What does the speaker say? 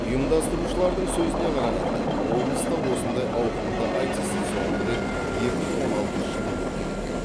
ұйымдастырушылардың сөзіне қарағанда облыста осындай ауқымды айтыс соңғы рет екі мың он алтыншы жылы өткен екен